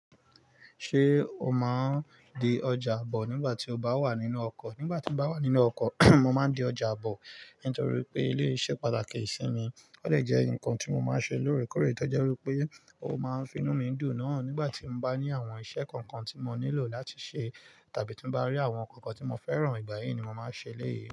Ṣé o máa ń di ọjà bọ̀ nígbà tí o bá wà nínú ọkọ̀? Nígbà tí mo bá wà nínú ọkọ̀, mo máa ń di ọjà bọ̀ nítorí pé eléyìí ṣe pàtàkì sí mi. Ó dẹ̀ jẹ́ ǹkan tí mo máa ń ṣe lóòrèkóòrè, tí ó jẹ́ wí pé ó máa ń fi inú mi dùn náà nígbà tí mo bá ní àwọn iṣẹ́ kankan tí mo nílò láti ṣe tàbí tí mo bá rí àwọn ǹkan tí mo fẹ́ràn, ìgbà yìí ni mo máa ń ṣe eléyìí.